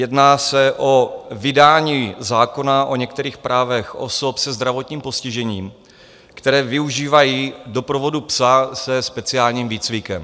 Jedná se o vydání zákona o některých právech osob se zdravotním postižením, které využívají doprovodu psa se speciálním výcvikem.